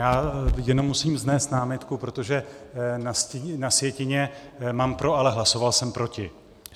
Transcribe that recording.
Já jenom musím vznést námitku, protože na sjetině mám pro, ale hlasoval jsem proti.